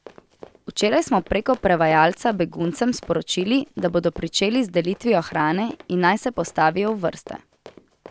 Včeraj smo preko prevajalca beguncem sporočili, da bomo pričeli z delitvijo hrane in naj se postavijo v vrste.